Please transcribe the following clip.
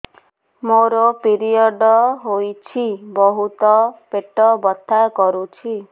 ମୋର ପିରିଅଡ଼ ହୋଇଛି ବହୁତ ପେଟ ବଥା କରୁଛି